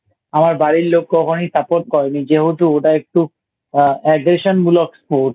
আমার বাড়ির লোক কখনোই Support করে নি যেহেতু ওটা একটু এ Aggression মূলক Sports